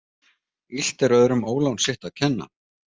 Illt er öðrum ólán sitt að kenna.